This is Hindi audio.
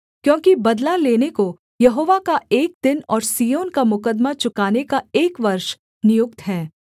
क्योंकि बदला लेने को यहोवा का एक दिन और सिय्योन का मुकद्दमा चुकाने का एक वर्ष नियुक्त है